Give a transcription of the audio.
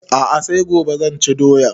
A'a sai gobe zan ci doyan